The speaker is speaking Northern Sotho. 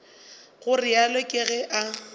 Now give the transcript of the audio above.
go realo ke ge a